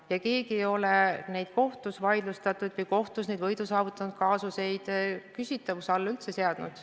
Aga keegi ei ole neid kohtus võidu saavutanud kaasuseid küsimärgi alla seadunud.